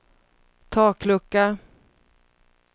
taklucka